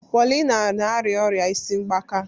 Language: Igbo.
Paulina na-arịa ọrịa isi mgbaka.